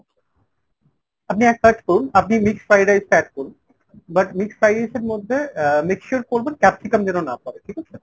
আপনি এক কাজ করুন আপনি mixed fried rice টা add করুন। but mixed fried rice এর মধ্যে আহ make sure করবেন capsicum যেন না পরে ঠিক আছে ?